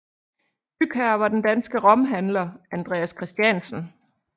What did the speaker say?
Bygherre var den danske romhandler Andreas Christiansen